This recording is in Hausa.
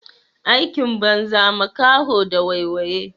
Aikin banza makaho da waiwaye.